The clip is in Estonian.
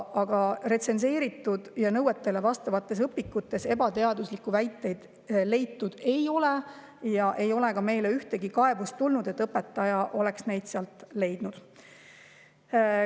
Aga retsenseeritud ja nõuetele vastavates õpikutes ebateaduslikke väiteid leitud ei ole ja ei ole meile ka ühtegi kaebust tulnud, et mõni õpetaja oleks neid sealt leidnud.